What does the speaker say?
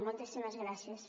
moltíssimes gràcies